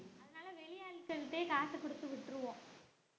அதனால வெளியாள்கள் கிட்டேயே காசு குடுத்து விட்டுருவோம்